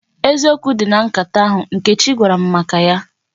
Eziokwu dị na nkata ahụ Nkechi gwara m maka ya.